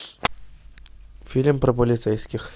фильм про полицейских